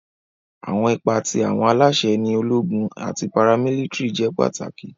Awọn ipa ti awọn alaṣẹ ni ologun ati paramilitiri jẹ pataki.